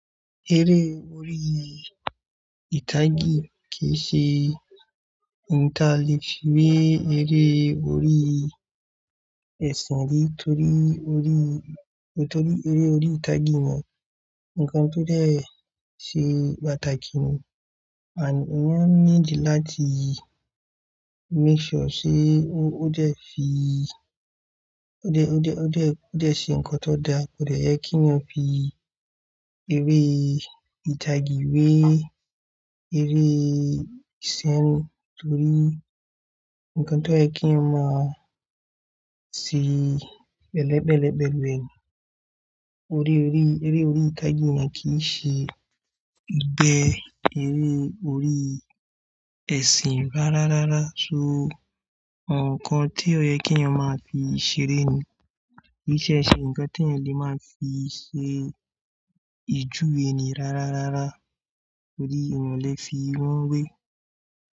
Eré orí ìtagì kì í ṣe ìtále fí we eré orí ẹ̀sìn rí torí eré orí ìtagì náà ńkan tó dẹ̀ ṣe pàtàkì ni. Àní eyab ní dì láti make sure sé ó dẹ̀ fi, ó dẹ̀, ó dẹ̀, ó dẹ̀ ṣe ńkan tó da, ó dẹ̀ yẹ kí ọmọ fi eré ìtagì wé eré ìsìn torí ńkan tó yẹ kí iyan ma sì bẹ́ẹ̀lẹ́bẹ́ẹ̀lẹ́bẹ́ẹ̀lụ. Eré orí ìtagì náà kì í ṣe ìgbẹ́ eré orí ẹ̀sìn rárá rárá. So ǹkan tí ó yẹ kí iyan ma fi ṣeré ni. Kì í ṣe ṣe ǹkan tí ẹni máa ń fi ṣe ìjuwe ènì rárá rárá. Torí ìwọ̀n lè fi wọ́n wé.